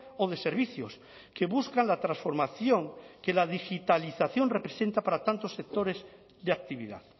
o de servicios que buscan la transformación que la digitalización representa para tantos sectores de actividad